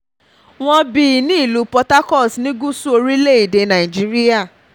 wọ́n bí nílùú port harcourt ní gúúsù orílẹ̀‐èdè nàíjíríà